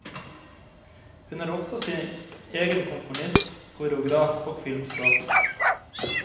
Hun er også sin egen komponist, koreograf og filmskaper.